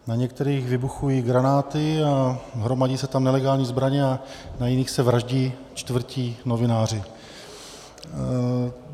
Na některých vybuchují granáty a hromadí se tam nelegální zbraně a na jiných se vraždí, čtvrtí novináři.